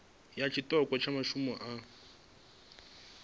ya tshiṱoko tsha masimu avho